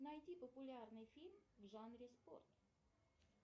найти популярный фильм в жанре спорт